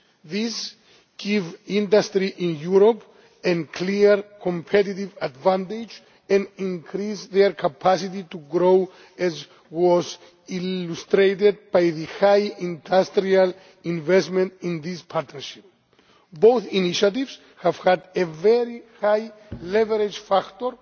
These give industry in Europe a clear competitive advantage and increase its capacity to grow, as was illustrated by the high industrial investment in these partnerships. Both initiatives have had a very high leverage factor